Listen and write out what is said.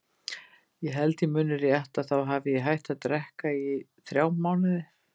Ég held ég muni rétt að þá hafi ég hætt að drekka í þrjá mánuði.